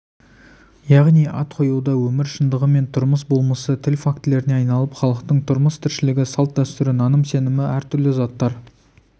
яғни ат қоюда өмір шындығы мен тұрмыс болмысы тіл фактілеріне айналып халықтың тұрмыс-тіршілігі салтдәстүрі наным-сенімі әр түрлі заттар